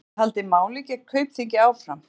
Geta haldið máli gegn Kaupþingi áfram